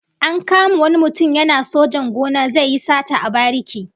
An kama wani mutum yana sojan gona zai yi sata a bariki